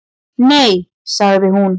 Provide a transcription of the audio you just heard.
Nei, sagði hún.